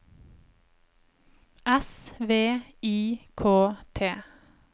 S V I K T